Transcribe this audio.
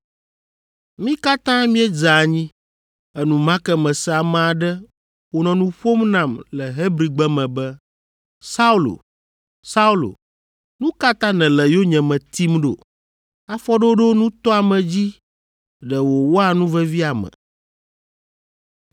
Mí katã míedze anyi. Enumake mese ame aɖe wònɔ nu ƒom nam le Hebrigbe me be, ‘Saulo, Saulo, nu ka ta nèle yonyeme tim ɖo? Afɔɖoɖo nutɔame dzi ɖe wòwɔa nu vevi ame.’